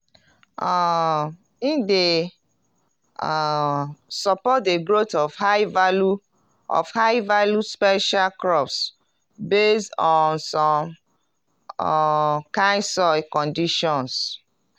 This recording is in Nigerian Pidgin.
um e dey um support de growth of high-value of high-value special crops based on some um kind soil conditions.